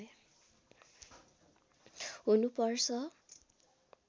हुनु पर्छ